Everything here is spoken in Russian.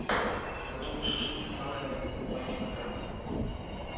готовый шашлык из баранины два килограмма